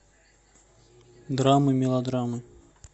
драмы мелодрамы